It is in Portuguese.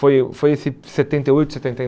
Foi o foi em setenta e oito, setenta e